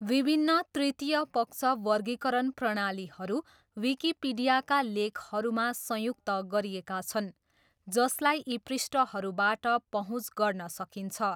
विभिन्न तृतीय पक्ष वर्गीकरण प्रणालीहरू विकिपिडियाका लेखहरूमा संयुक्त गरिएका छन्, जसलाई यी पृष्ठहरूबाट पहुँच गर्न सकिन्छ।